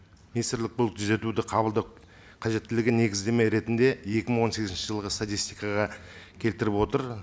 министрлік бұл түзетуді қабылдап қажеттілігін негіздеме ретінде екі мың он сегізінші жылғы статистикаға келтіріп отыр